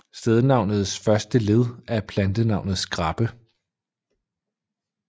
Stednavnets første led er plantenavnet skræppe